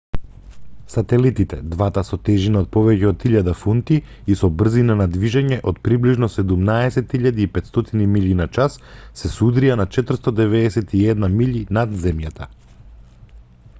сателитите двата со тежина од повеќе од 1000 фунти и со брзина на движење од приближно 17.500 милји на час се судрија на 491 милји над земјата